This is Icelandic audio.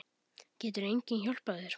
Getur enginn hjálpað þér?